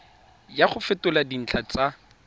ya go fetola dintlha tsa